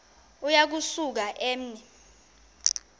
uya kusuka eme